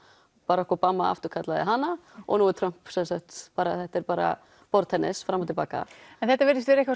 Barack Obama afturkallaði hana og nú Trump þetta er bara borðtennis fram og til baka en þetta virðist vera